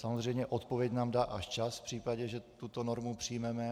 Samozřejmě odpověď nám dá až čas v případě, že tuto normu přijmeme.